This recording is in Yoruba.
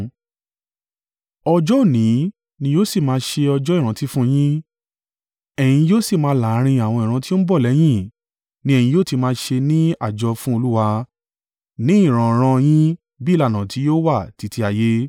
“Ọjọ́ òní ni yóò sì máa ṣe ọjọ́ ìrántí fún yín, ẹ́yin yóò sì máa láàrín àwọn ìran tí ó ń bọ̀ lẹ́yìn ni ẹ̀yin yóò ti máa ṣe ní àjọ fún Olúwa; ní ìran-ìran yín bí ìlànà tí yóò wà títí ayé.